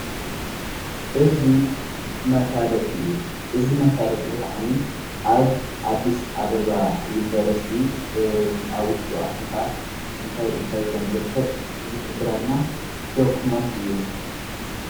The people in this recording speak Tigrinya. እዝ መፋለጥ እዩ እዝ መፋለጢ ዝኸዓኒ ኣብ ኣዲስ ኣበባ ዩንበርስቲ ኣውሽቶ ኣቲኻ እንታይ እንታይ ከም ዘርከብ ዝኅብረልና ደኩመንት እዩ::